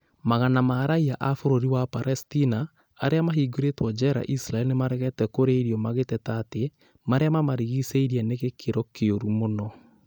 Magana ma raiya a bũrũri wa Palestina arĩa mahingĩirwo njera Isiraeli nĩmaregete kũrĩa irio magĩteta atĩ marĩa mamarigicĩirie nĩ gĩkĩro kĩũru mũno